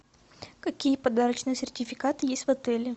какие подарочные сертификаты есть в отеле